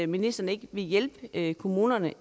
ministeren ikke vil hjælpe kommunerne